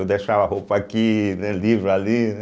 Eu deixava roupa aqui, né, livro ali, né.